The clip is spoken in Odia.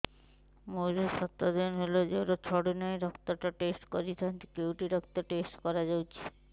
ମୋରୋ ସାତ ଦିନ ହେଲା ଜ୍ଵର ଛାଡୁନାହିଁ ରକ୍ତ ଟା ଟେଷ୍ଟ କରିଥାନ୍ତି କେଉଁଠି ରକ୍ତ ଟେଷ୍ଟ କରା ଯାଉଛି